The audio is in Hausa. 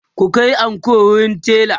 ku Kai anko wurin tela!